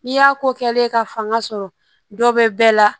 N'i y'a ko kɛlen ka fanga sɔrɔ dɔ bɛ bɛɛ la